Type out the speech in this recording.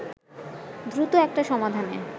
দ্রুত একটা সমাধানে